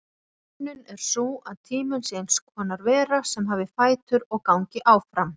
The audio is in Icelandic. Hugsunin er sú að tíminn sé eins konar vera sem hafi fætur og gangi áfram.